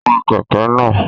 Wa kẹ̀kẹ́ náà!